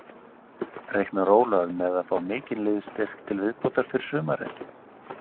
Reiknar Ólafur með að fá mikinn liðsstyrk til viðbótar fyrir sumarið?